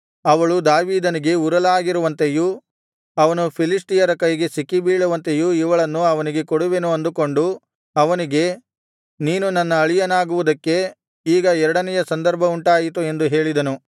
ಅವಳು ದಾವೀದನಿಗೆ ಉರಲಾಗಿರುವಂತೆಯೂ ಅವನು ಫಿಲಿಷ್ಟಿಯರ ಕೈಗೆ ಸಿಕ್ಕಿಬೀಳುವಂತೆಯೂ ಇವಳನ್ನು ಅವನಿಗೆ ಕೊಡುವೆನು ಅಂದುಕೊಂಡು ಅವನಿಗೆ ನೀನು ನನ್ನ ಅಳಿಯನಾಗುವುದಕ್ಕೆ ಈಗ ಎರಡನೆಯ ಸಂದರ್ಭವುಂಟಾಯಿತು ಎಂದು ಹೇಳಿದನು